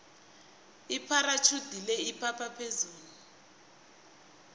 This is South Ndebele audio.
ipharatjhudi le iphapha phezulu